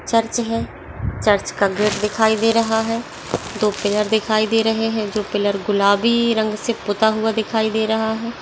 Church है church का gate दिखाई दे रहा है दो पिलर दिखाई दे रहे है जो पिलर गुलाबी रंग से पुता हुआ दिखाई दे रहा है।